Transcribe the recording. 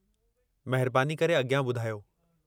महिरबानी करे अॻियां ॿुधायो।